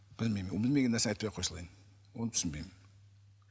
білмеймін білмеген нәрсені айтпай ақ қоя салайын оны түсінбеймін